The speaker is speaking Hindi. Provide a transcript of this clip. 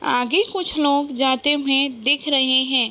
आगे कुछ लोग जाते हुए दिख रहे हैं ।